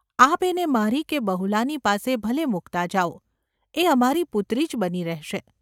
આપ એને મારી કે બહુલાની પાસે ભલે મૂકતા જાઓ; એ અમારી પુત્રી જ બની રહેશે.